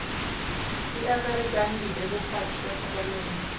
di akaretsang dibebofatsi tsa tlhokomelo